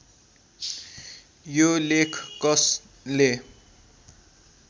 यो लेख कसले